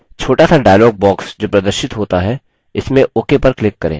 छोटासा dialog box जो प्रदर्शित होता है इसमें ok पर click करें